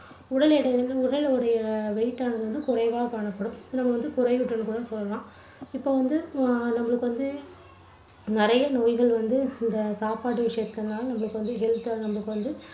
உடல் எடை வந்து, உடலுடைய weight ஆனது குறைவாக காணப்படும். இன்னும் வந்து குறைவுற்று இருக்கும்னு சொல்லலாம். இப்போ வந்து அஹ் நம்மளுக்கு வந்து நிறைய நோய்கள் வந்து இந்த சாப்பாட்டு விஷயத்துனால நம்மளுக்கு வந்து health அ வந்து நம்மளுக்கு வந்து